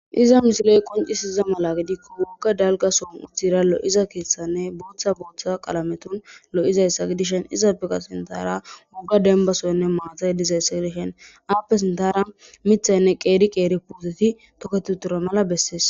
Izza missileyi qonccisiza mala giddikko woga dalgga sohonni uttida lo'oza keththanne boththa boththa qalametunni lo'izayissa gidishshin izzappe qaa sinththara woga dennibba soyinn mata dizayissa gidishshinni appe sinththara miththayinne qeri qeri puteti toketi uttidi mala besses.